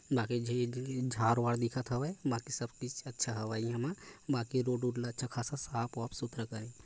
बाकी झी झार वार दिखत हवय बाकी सब किस अच्छा हवय ए मा बाकी रोड उड़ अच्छा खासा ससफ वाफ सुथरा करे--